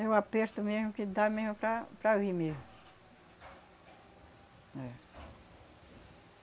É o aperto mesmo que dá mesmo para para vir mesmo. É.